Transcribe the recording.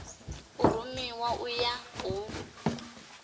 a rumiwe u ya u